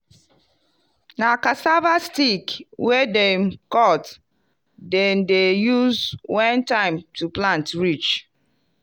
na cassava stick wey dem cut dem dey use when time to plant reach.